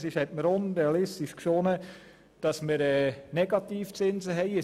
Es erschien mir unrealistisch, dass wir einmal Negativzinsen haben würden.